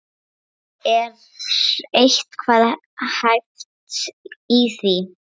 Er eitthvað hæft í því?